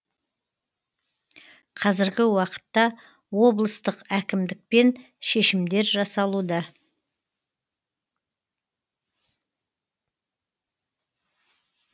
қазіргі уақытта облыстық әкімдікпен шешімдер жасалуда